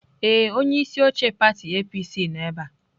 Ee, onye isi oche pati APC nọ ebe a.